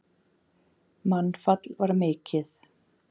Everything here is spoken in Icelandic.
Mannfall var mikið.